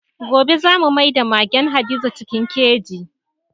Gobe za mu maida magen Hadiza cikin keji.